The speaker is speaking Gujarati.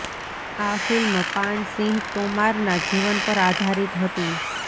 આ ફિલ્મ પાન સિંહ તોમારના જીવન પર આધારિત હતી